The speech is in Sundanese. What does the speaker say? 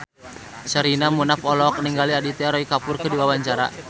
Sherina Munaf olohok ningali Aditya Roy Kapoor keur diwawancara